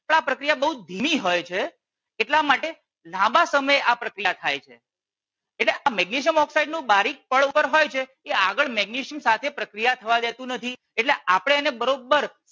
આ પ્રક્રિયા બહુ ધીમી હોય છે એટલા માટે લાંબા સમય આ પ્રક્રિયા થાય છે એટલે આ મેગ્નેશિયમ ઓક્સસાઇડ નું બારીક પડ ઉપર હોય છે એ આગળ મેગ્નેશિયમ સાથે પ્રક્રિયા થવા દેતું નથી એટલે આપણે એને બરોબર